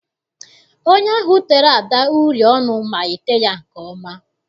Onye ahụ tere Ada uri ọnụ ma ete ya nke ọma.